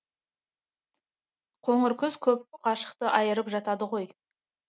қоңыр күз көп ғашықты айырып жатады ғой